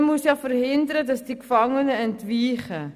Man muss ja verhindern, dass die Gefangenen entweichen.